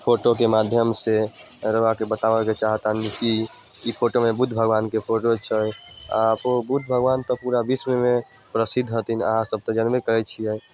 Photo के माध्यम से रऊआ के बतावे के चाहे तानि कि ई फोटो में बुद्ध भगवान के फोटो छै अ बुद्ध भगवान ते पूरा विश्व में प्रसिद्ध हथिन आहां सब ते जानबे करे छिये।